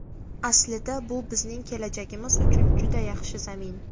Aslida bu bizning kelajagimiz uchun juda yaxshi zamin.